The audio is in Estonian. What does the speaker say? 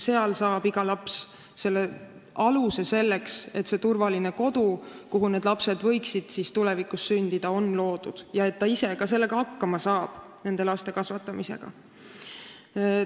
Sealt saab iga inimene selle aluse, et luua turvaline kodu, kuhu võiksid tulevikus lapsed sündida, ja et ta ka ise nende laste kasvatamisega hakkama saab.